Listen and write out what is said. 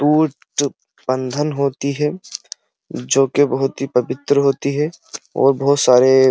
बंधन होती है जोकि बहोत ही पवित्र होती है और बहोत सारे --